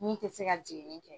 Min tɛ se ka jiginni kɛ.